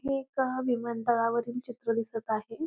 हे एका विमानतळावरील चित्र दिसत आहे.